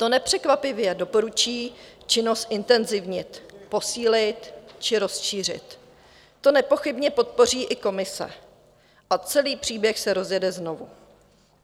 To nepřekvapivě doporučí činnosti zintenzivnit, posílit či rozšířit, to nepochybně podpoří i Komise a celý příběh se rozjede znovu.